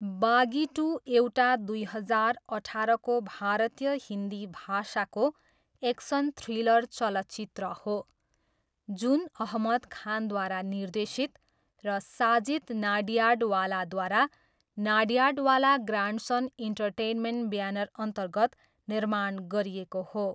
बागी टु एउटा दुई हजार अठारको भारतीय हिन्दी भाषाको एक्सन थ्रिलर चलचित्र हो जुन अहमद खानद्वारा निर्देशित र साजिद नाडियाडवालाद्वारा नाडियाडवाला ग्रान्डसन इन्टरटेनमेन्ट ब्यानरअन्तर्गत निर्माण गरिएको हो।